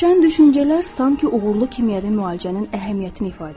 Şən düşüncələr sanki uğurlu kimyəvi müalicənin əhəmiyyətini ifadə edir.